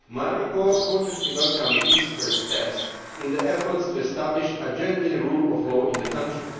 My report cautiously welcomes these first steps in the effort to establish a genuine rule of law in the country.